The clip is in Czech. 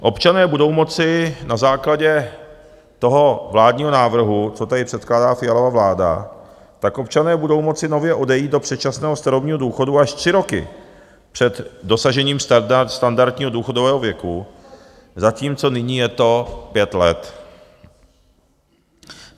Občané budou moci na základě toho vládního návrhu, co tady předkládá Fialova vláda, tak občané budou moci nově odejít do předčasného starobního důchodu až tři roky před dosažením standardního důchodového věku, zatímco nyní je to pět let.